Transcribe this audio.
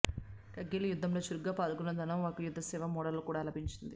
కార్గిల్ యుద్ధంలో చురుగ్గా పాల్గొన్న ధనోవాకు యుద్ధ సేవా మెడల్ కూడా లభించింది